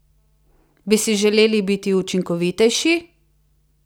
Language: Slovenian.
Bi si želeli biti učinkovitejši?